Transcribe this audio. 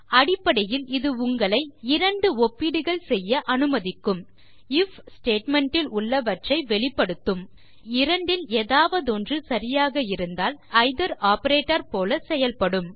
அடிப்படையில் இது உங்களை இரண்டு ஒப்பீடுகள் செய்ய அனுமதிக்கும் ஐஎஃப் statementல் உள்ளவற்றை வெளிப்படுத்தும் மற்றும் இரண்டில் ஏதாவதொன்று சரியாக இருந்தால் பின் அது எய்தர் ஆப்பரேட்டர் போல செயல்படும்